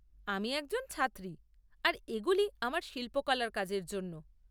আমি একজন ছাত্রী আর এগুলি আমার শিল্পকলার কাজের জন্য।